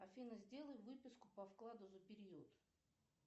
афина сделай выписку по вкладу за период